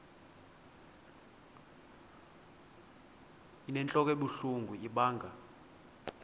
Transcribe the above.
inentlok ebuhlungu ibanga